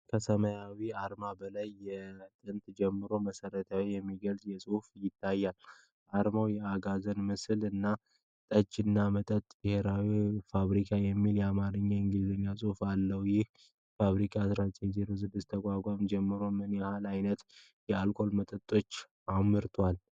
ከሰማያዊው አርማ በላይ የጥንት ጀምሮ መሥራት የሚገልጽ ጽሑፍ ይታያል። አርማው የአጋዘን ምስል እና 'ጠጅ እና መጠጦች ብሔራዊ ፋብሪካ' የሚል የአማርኛና የእንግሊዝኛ ጽሑፎች አሉት። ይህ ፋብሪካ በ1906 ከተቋቋመ ጀምሮ ምን ያህል ዓይነት የአልኮል መጠጦችን አምርቷል? (